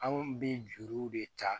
Anw bɛ juruw de ta